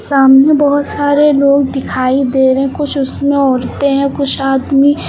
सामने बहोत सारे लोग दिखाई दे रहे कुछ उसमें औरतें हैं कुछ आदमी--